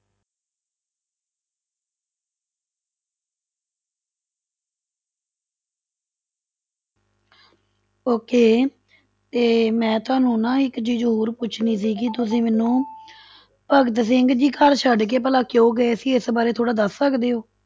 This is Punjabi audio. Okay ਤੇ ਮੈਂ ਤੁਹਾਨੂੰ ਦੀ ਇੱਕ ਚੀਜ਼ ਹੋਰ ਪੁੱਛਣੀ ਸੀਗੀ ਤੁਸੀਂ ਮੈਨੂੰ ਭਗਤ ਸਿੰਘ ਜੀ ਘਰ ਛੱਡ ਕੇ ਭਲਾ ਕਿਉਂ ਗਏ ਸੀ, ਇਸ ਬਾਰੇ ਥੋੜ੍ਹਾ ਦੱਸ ਸਕਦੇ ਹੋ?